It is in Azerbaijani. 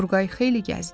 Turqay xeyli gəzdi.